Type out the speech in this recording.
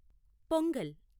pongal